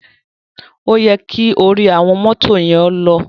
O yẹ ki ori awọn moto yen lọ.